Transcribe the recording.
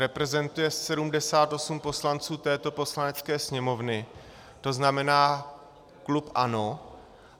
Reprezentuje 78 poslanců této Poslanecké sněmovny, to znamená klub ANO.